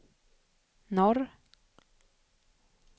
norr